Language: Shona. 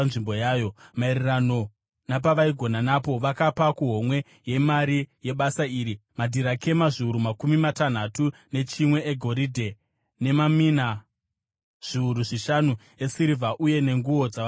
Maererano napavaigona napo vakapa kuhomwe yemari yebasa iri, madhirakema zviuru makumi matanhatu nechimwe egoridhe, nemamina zviuru zvishanu esirivha uye nenguo dzavaprista zana.